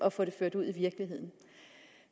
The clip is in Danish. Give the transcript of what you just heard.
at få det ført ud i virkeligheden